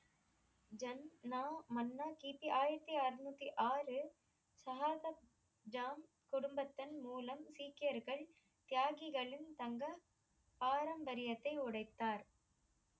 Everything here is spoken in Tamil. ஜன்னா மன்னர் கி. பி ஆயிரத்தி அறநூத்தி ஆறு சஹாதப்ஜா கொடும்பத்தன் மூலம் சீக்கியர்கள் தியாகிகளின் தங்கள் பாரம்பரியத்தை உடைத்தார்